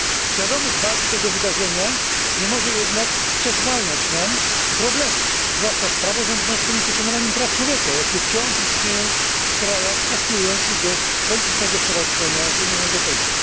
Świadomość wagi tego wydarzenia nie może jednak przesłaniać nam problemów, zwłaszcza z praworządnością i poszanowaniem praw człowieka, jakie wciąż istnieją w krajach aspirujących do politycznego stowarzyszenia z Unią Europejską.